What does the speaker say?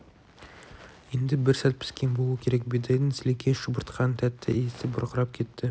енді бір сәт піскен болу керек бидайдың сілекей шұбыртқан тәтті иісі бұрқырап кетті